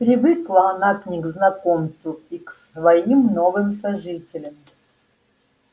привыкла она и к незнакомцу и к своим новым сожителям